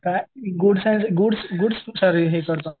काय goods goods sorry